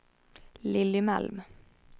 Lilly Malm